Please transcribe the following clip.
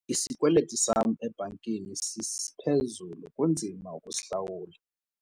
Isikweliti sam ebhankini siphezulu kunzima ukusihlawula.